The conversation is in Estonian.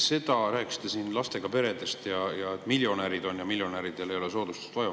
Te rääkisite siin lastega peredest ja et miljonärid on ja et miljonäridele pole soodustust vaja.